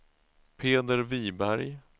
Peder Viberg